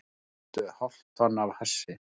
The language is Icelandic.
Fundu hálft tonn af hassi